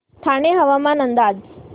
ठाणे हवामान अंदाज